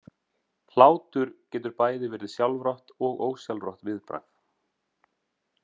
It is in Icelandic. Hlátur getur bæði verið sjálfrátt og ósjálfrátt viðbragð.